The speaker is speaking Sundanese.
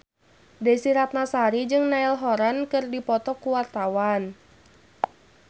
Desy Ratnasari jeung Niall Horran keur dipoto ku wartawan